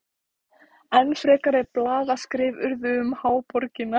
Enn frekari blaðaskrif urðu um háborgina.